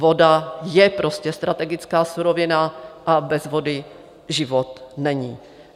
Voda je prostě strategická surovina a bez vody život není.